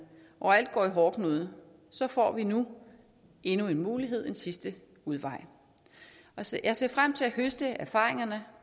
og alt går i hårdknude så får vi nu endnu en mulighed en sidste udvej jeg ser ser frem til at høste erfaringerne